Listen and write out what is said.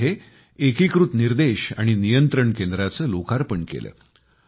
मी तिथे एकीकृत निर्देश आणि नियंत्रण केंद्राचे लोकार्पण केले